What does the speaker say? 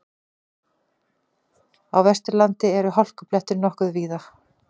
Á Vesturlandi eru hálkublettir nokkuð víða